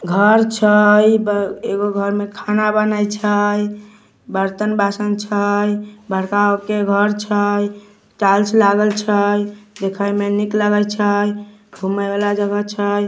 घर छैएगो घर में खाना बनय छै बर्तन बासन छै बड़का गो के घर छै टाइल्स लागल छै देखे में निक लगे छै घूमे वाला जगह छै।